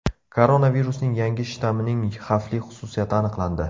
Koronavirusning yangi shtammining xavfli xususiyati aniqlandi.